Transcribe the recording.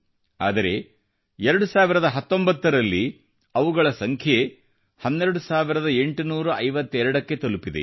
ಆದರೆ 2019 ರಲ್ಲಿ ಅವುಗಳ ಸಂಖ್ಯೆ 12852 ಕ್ಕೆ ತಲುಪಿದೆ